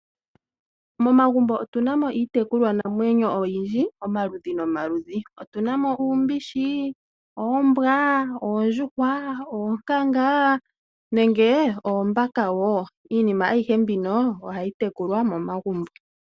Momagumbo otuna mo iitekulwa namwenyo oyindji omaludhi nomaludhi. Otuna mo uumbishi, oombwa, oondjuhwa, oonkanga noshowo oombaka. Iinima ayihe mbino ohayi tekulwa momagumbo.